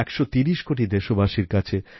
১৩০ কোটি দেশবাসীর কাছে